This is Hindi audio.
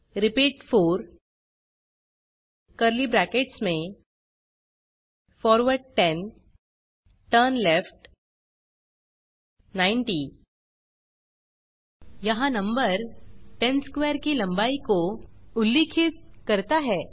रिपीट 4 कर्ली ब्रैकेट्स में फॉरवर्ड 10 टर्नलेफ्ट 90 यहाँ नंबर 10 स्क्वेयर की लंबाई को उल्लिखित करता है